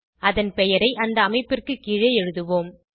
அதன் பெயரை அந்த அமைப்பிற்கு கீழே எழுதுவோம்